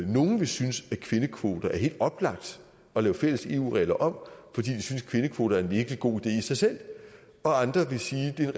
nogle vil synes at kvindekvoter er helt oplagt at lave fælles eu regler om fordi de synes at kvindekvoter er en virkelig god idé i sig selv og andre vil sige at det er